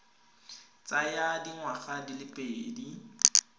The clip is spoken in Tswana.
tsaya dingwaga di le pedi